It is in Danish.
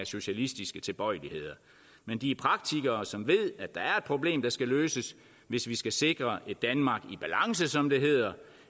socialistiske tilbøjeligheder men de er praktikere som ved at der er et problem der skal løses hvis vi skal sikre et danmark i balance som det hedder